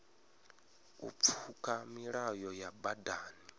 u pfuka milayo ya badani